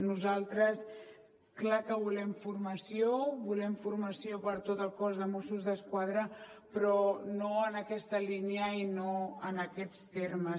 nosaltres clar que volem formació volem formació per a tot el cos de mossos d’esquadra però no en aquesta línia i no en aquests termes